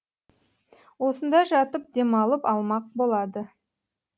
осында жатып демалып алмақ болады